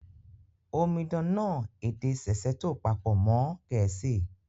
Omidan náà èdè Sesotho pàpò mọn Gẹ̀ẹ̀síì